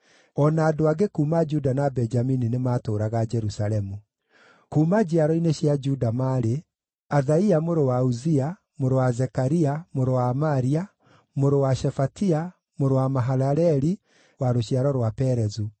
O na andũ angĩ kuuma Juda na Benjamini nĩmatũũraga Jerusalemu): Kuuma njiaro-inĩ cia Juda maarĩ: Athaia mũrũ wa Uzia, mũrũ wa Zekaria, mũrũ wa Amaria, mũrũ wa Shefatia, mũrũ wa Mahalaleli, wa rũciaro rwa Perezu;